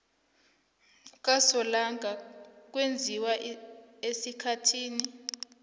kasolanga kwenziwa esikhathini